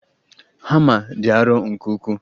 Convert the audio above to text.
Hama dị arọ nke ukwuu.